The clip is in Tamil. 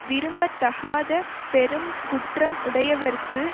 விரும்பத்தக்காத பெருங்குற்றம் உடையவர்க்கு